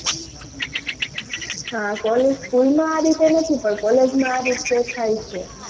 હાં college school માં આ રીતે નથી પણ college માં આ રીતે થાય છે.